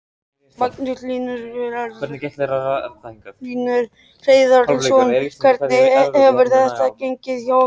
Magnús Hlynur Hreiðarsson: Hvernig hefur þetta gengið hjá ykkur?